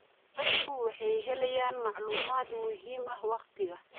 Dadku waxay helayaan macluumaad muhiim ah waqtiga.